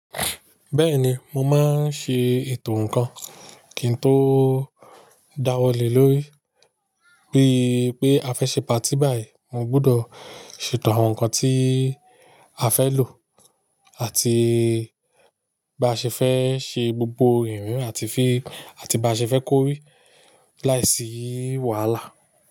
Bẹ́ẹ̀ni mo máa n ṣe ètò ǹkan kí n tó dáwọ́ lè lórí. Bí pé a fẹ́ ṣe patí báyìí, mo gbúdọ̀ ṣètò àwọn nǹkan tí a fẹ́ lò àti bá ṣe fẹ́ ṣe gbogbo ìrìn àti fí, àti bá ṣe fẹ́ kóri láìsí wàhálà.